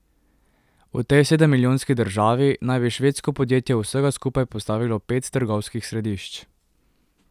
V tej sedemmilijonski državi naj bi švedsko podjetje vsega skupaj postavilo pet trgovskih središč.